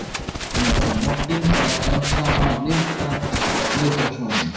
Næsta morgun var enn sama milda vetrarsólin.